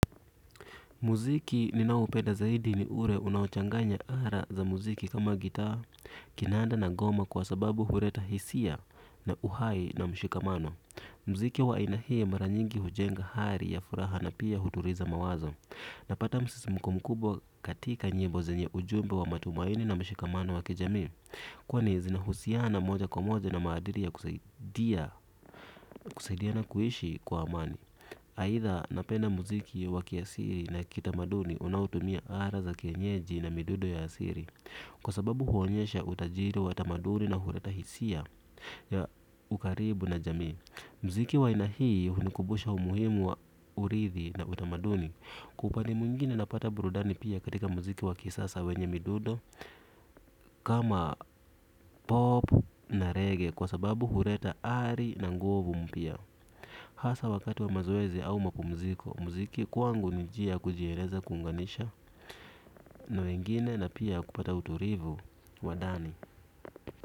Muziki ninaoupenda zaidi ni ule unaochanganya ala za muziki kama gitaa, kinanda na ngoma kwa sababu huleta hisia na uhai na mshikamano. Muziki wa aina hii mara nyingi hujenga hali ya furaha na pia hutuliza mawazo. Napata msisimko mkubwa katika nyimbo zenye ujumbe wa matumaini na mshikamano wa kijamii. Kwani zinahusiana moja kwa moja na maadili ya kusaidia, kusaidiana kuishi kwa amani. Aidha napenda muziki wa kiasili na kitamaduni unaotumia ala za kienyeji na midundo ya asili. Kwa sababu huonyesha utajiri wa tamaduni na huleta hisia ya ukaribu na jamii. Muziki wa aina hii hunikumbusha umuhimu wa urithi na utamaduni. Kwa upande mwingine napata burudani pia katika muziki wa kisasa wenye midundo kama pop na reggae kwa sababu huleta ari na nguvu mpya. Hasa wakati wa mazoezi au mapumziko muziki kwangu ni njia ya kujieleza, kuunganisha na wengine na pia kupata utulivu wa ndani.